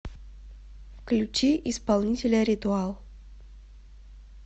включи исполнителя р и т у а л